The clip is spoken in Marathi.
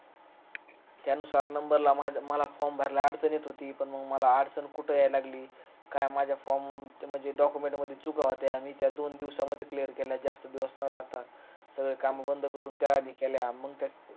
त्या नुसार number ला माझा मला form भरायला अडचण येत होती पण मग मला अडचण कुठ येयाला लागली काय माझा form म्हणजे document मध्ये चुका होत्या आणि त्या दोन दिवसामध्ये clear केल्या जास्त दिवस न लागता काम धंदे करून तयारी केल्या